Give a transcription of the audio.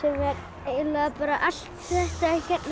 er eiginlega allt þetta